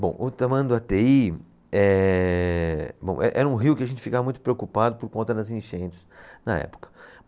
Bom, o Tamanduateí, ehh, bom, eh era um rio que a gente ficava muito preocupado por conta das enchentes na época.